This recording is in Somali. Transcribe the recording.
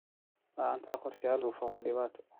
La'aanta qorshayaal hufan waa dhibaato.